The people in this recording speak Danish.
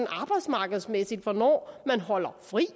arbejdsmarkedsmæssigt hvornår der holdes fri